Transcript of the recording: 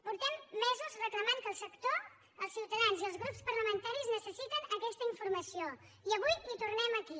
fa mesos que reclamem que el sector els ciutadans i els grups parlamentaris necessiten aquesta informació i avui hi tornem aquí